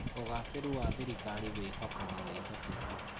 ũgacĩĩru wa thirikari wĩhokaga wĩhokeku.